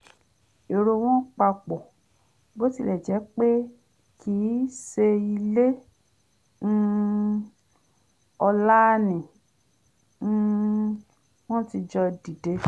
èrò wọn papọ̀ bó tilẹ̀ jẹ́ pé kìí ṣeilé um ọlá ni um wọ́n ti jọ dìde